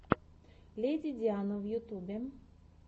леди диана в ютьюбе